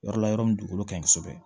Yɔrɔ la yɔrɔ min dugukolo ka ɲi kosɛbɛ